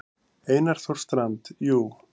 Einar Þór Strand: Jú.